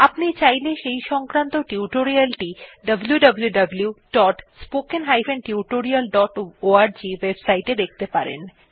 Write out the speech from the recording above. আপনি চাইলে সেই সংক্রান্ত টিউটোরিয়াল টি wwwspoken tutorialorg ওএবসাইট এ দেখতে পারেন